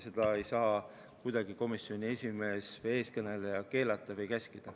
Seda ei saa kuidagi komisjoni esimees, eestkõneleja keelata või käskida.